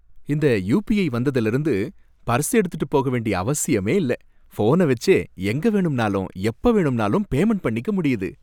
இந்த யுபிஐ வந்ததுல இருந்து பர்ஸ எடுக்கிட்டு போக வேண்டிய அவசியமே இல்ல. ஃபோன வச்சே எங்க வேணும்னாலும் எப்ப வேணும்னாலும் பேமண்ட் பண்ணிக்க முடியுது.